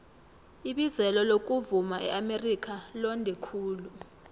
ibizelo lokuvuma eamerika londe khulu